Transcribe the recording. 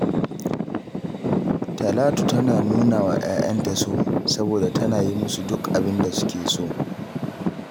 Talatu tana nuna wa ‘ya’yanta so, saboda tana yi musu duk abin da suke so